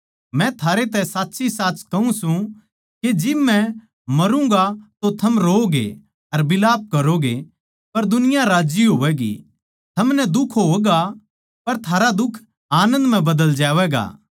मै थारै तै साच्चीसाच कहूँ सूं के जिब मै मारूँगा तो थम रोओगे अर बिलाप करोगे पर दुनिया राज्जी होवैगी थमनै दुख होगा पर थारा दुख आनन्द म्ह बदल जावैगा